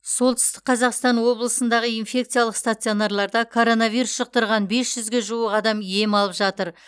солтүстік қазақстан облысындағы инфекциялық стационарларда коронавирус жұқтырған бес жүзге жуық адам ем алып жатыр